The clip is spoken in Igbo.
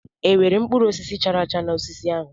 E nwere mkpụrụ osisi chara acha n'osisi ahụ?